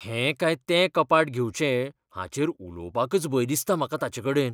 हें काय तें कपाट घेवचें हाचेर उलोवपाकच भंय दिसता म्हाका ताचेकडेन.